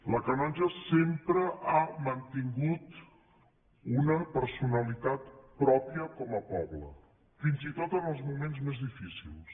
la canonja sempre ha mantingut una personalitat pròpia com a poble fins i tot en els moments més difícils